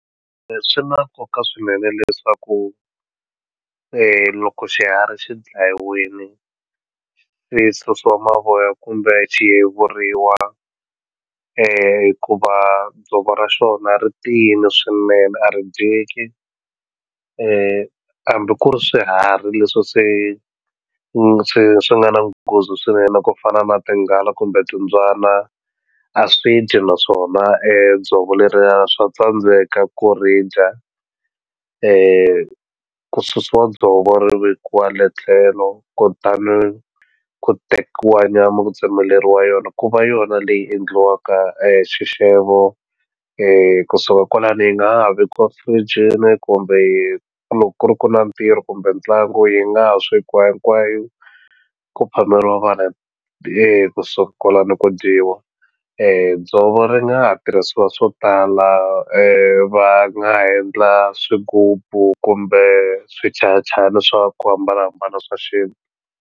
Swi na nkoka swinene leswaku loko xiharhi xi dlayiwini xi susiwa mavoya kumbe xi yiveriwa hikuva dzovo ra xona ri tiyini swinene a ri dyeki hambi ku ri swiharhi leswi se swi swi nga na nghozi swinene ku fana na tinghala kumbe timbyana a swi dyi naswona dzovo leriya swa tsandzeka ku ri dya ku susiwa dzovo ri vekiwa le tlhelo kutani ku tekiwa nyama ku tsemeleriwa yona ku va yona leyi endliwaka xixevo kusuka kwalani yi nga ha vekiwa firijini kumbe loko ku ri ku na ntirho kumbe ntlangu yi nga ha swekiwa hinkwayo ku phameriwa vanhu kusuka kwalano ku dyiwa dzovo ri nga ha tirhisiwa swo tala va nga ha endla swigubu kumbe swichayachayani swa ku hambanahambana swa .